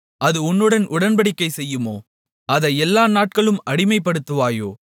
அது உன்னுடன் உடன்படிக்கை செய்யுமோ அதை எல்லா நாட்களும் அடிமைப்படுத்துவாயோ